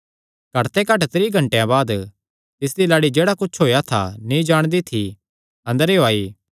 घट ते घट त्रीं घंटेयां बाद तिसदी लाड़ी जेह्ड़ा कुच्छ होएया था नीं जाणदी थी अंदरेयो आई